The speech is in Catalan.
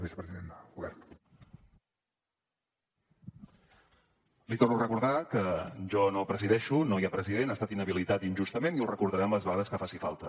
li torno a recordar que jo no presideixo no hi ha president ha estat inhabilitat injustament i ho recordarem les vegades que faci falta